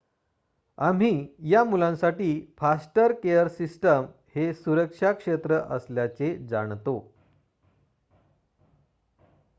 आम्ही या मुलांसाठी फॉस्टर केअर सिस्टम हे सुरक्षा क्षेत्र असल्याचे जाणतो